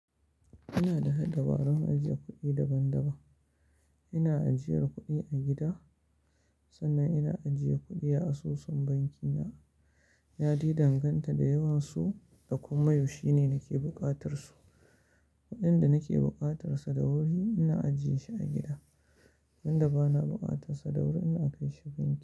Ina da dabarun ajiye kuɗi daban-daban. Ina ajiyar kuɗi a gida sannan ina ajiye kuɗi a asusun banki na. Yadai danganta da yawan su da kuma yaushe ne nake buƙatar su. Kuɗin da nake buƙatar sa da wuri ina ajiyeshi a gida, wanda bana buƙatar sa da wuri ina kaishi banki.